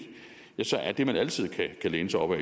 så er det man altid kan læne sig op af